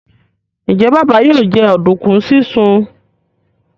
Njé Baba yóò jẹ oduku sisùn?